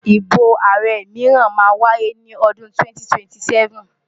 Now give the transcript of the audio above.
Ìbò ààrẹ mìíràn máa wáyé ní odun 2027.